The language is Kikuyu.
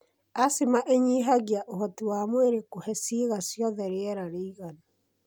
Asthma ĩnyihagia ũhoti wa mwĩrĩ kũhe ciĩga ciothe rĩera rĩiganu.